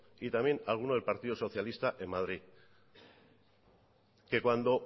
y también a alguno del partido socialista en madrid que cuando